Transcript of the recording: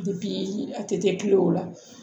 a tɛ kɛ kulo la